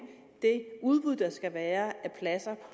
det udbud der skal være af pladser